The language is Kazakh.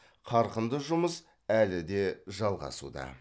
қарқынды жұмыс әлі де жалғасуда